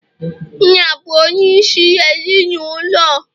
nna bụ onyeisi ezi n' ụlọ